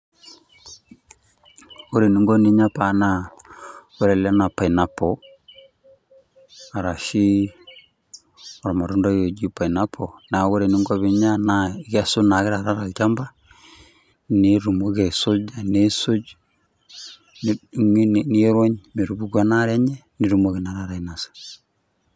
Ore eninko ninya paa naa, ore ele naa pineapple arashi olmatundai oji pineapple, na ore eninko pinya naa, ikesu naake taata tolchamba, nitumoki aisuja, nisuj nirony, metupuku enaare enye, nitumoki na taata ainasa.